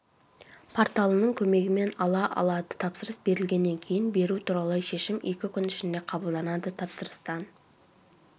порталының көмегімен ала алады тапсырыс берілгеннен кейін беру туралы шешім екі күн ішінде қабылданады тапсырыстан